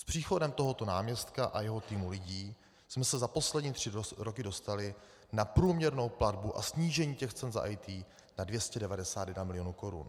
S příchodem tohoto náměstka a jeho týmu lidí jsme se za poslední tři roky dostali na průměrnou platbu a snížení těch cen za IT na 291 milionů korun.